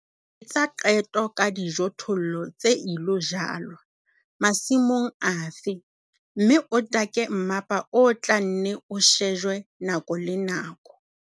Etsa qeto ka dijothollo tse ilo jalwa, masimong afe, mme o take mmapa o tla nne o shejwe nako le nako.